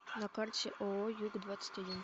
на карте ооо юг двадцать один